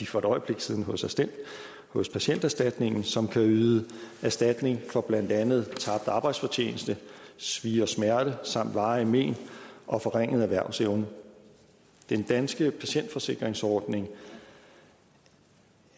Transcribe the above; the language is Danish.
for et øjeblik siden hos hos patienterstatningen som kan yde erstatning for blandt andet tabt arbejdsfortjeneste svie og smerte samt varige men og forringet erhvervsevne den danske patientforsikringsordning